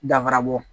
Danfara bɔ